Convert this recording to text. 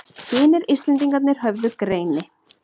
Hinir Íslendingarnir höfðu greini